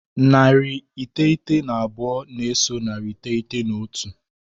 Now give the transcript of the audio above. Narị iteghete na abụọ na-eso narị iteghete na otu.